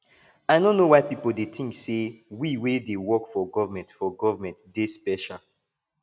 i no know why people dey think say we wey dey work for government for government dey special